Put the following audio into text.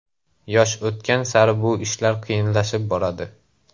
Yosh o‘tgan sari bu ishlar qiyinlashib boradi.